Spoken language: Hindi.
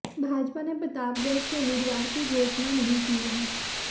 भाजपा ने प्रतापगढ़ से उम्मीदवार की घोषणा नहीं की है